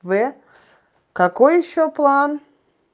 в какой ещё план